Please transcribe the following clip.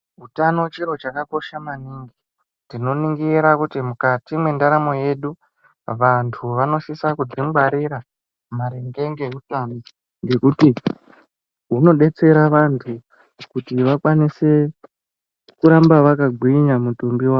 Utano chiro chakakosha maningi tinoningira kuti mukati mwendaramo yedu vantu vanosisa kudzingwarira maringe ngeutano ngekuti hunobetsera vantu kuti vakwanise kuramba vakagwinga mutumbi y avo.